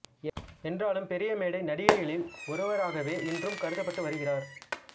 என்றாலும் பெரிய மேடை நடிகைகளில் ஒருவராகவே இன்றும் கருதப்பட்டு வருகிறார்